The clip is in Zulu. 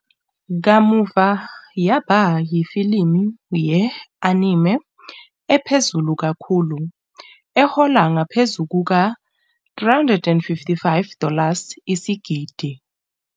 Kamuva yaba yifilimu ye-anime ephezulu kakhulu, ehola ngaphezu kuka- 355 dollars isigidi.